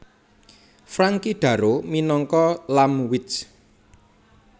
Frankie Darro minangka Lampwick